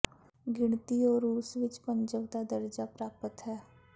ਗਿਣਤੀ ਉਹ ਰੂਸ ਵਿਚ ਪੰਜਵ ਦਾ ਦਰਜਾ ਪ੍ਰਾਪਤ ਹੈ